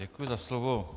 Děkuji za slovo.